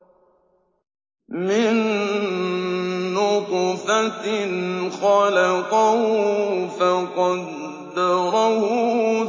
مِن نُّطْفَةٍ خَلَقَهُ فَقَدَّرَهُ